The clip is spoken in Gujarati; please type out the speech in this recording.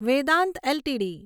વેદાંત એલટીડી